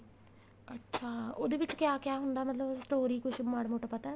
ਅੱਛਾ ਉਹਦੇ ਵਿੱਚ ਕਿਆ ਕਿਆ ਹੁੰਦਾ ਮਤਲਬ story ਕੁੱਝ ਮਾੜਾ ਮੋਟਾ ਪਤਾ